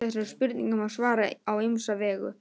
Þessari spurningu má svara á ýmsa vegu.